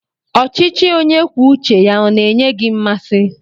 Ọchịchị onye kwuo uche ya ọ na-enye gị mmasị?